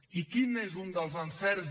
i quin és un dels encerts